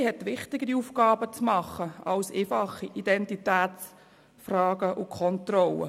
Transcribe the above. Die Polizei hat wichtigere Aufgaben zu erledigen als einfache Identitätskontrollen.